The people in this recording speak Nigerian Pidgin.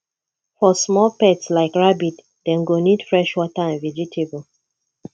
for small pets like rabbit dem go need fresh water and vegetable